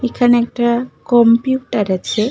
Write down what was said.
এইখানে একটা কম্পিউটার আছে।